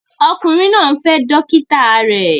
Ọkùnrin náà ń fẹ́ dókítà rẹ̀